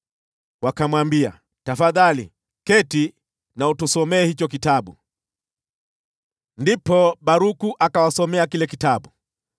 Wakamwambia, “Tafadhali, keti na utusomee hicho kitabu.” Ndipo Baruku akawasomea kile kitabu.